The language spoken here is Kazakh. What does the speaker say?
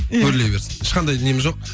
иә өрлей берсін ешқандай нем жоқ